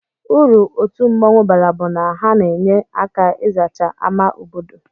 Uru otu mmụọnwụ bara bu na ha n'enye aka izacha ama obodo.